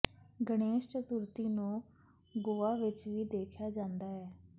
ਗਣੇਸ਼ ਚਤੁਰਥੀ ਨੂੰ ਗੋਆ ਵਿਚ ਵੀ ਦੇਖਿਆ ਜਾਂਦਾ ਹੈ